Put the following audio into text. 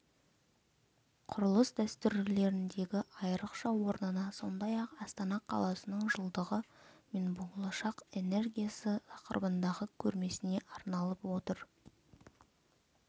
құрылыс дәстүрлеріндегі айрықша орнына сондай-ақ астана қаласының жылдығы мен болашақ энергиясы тақырыбындағы көрмесіне арналып отыр